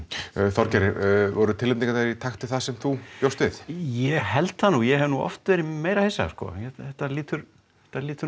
Þorgeir voru tilnefningarnar í takti við það sem þú bjóst við ég held það nú ég hef oft verið meira hissa þetta lítur þetta lítur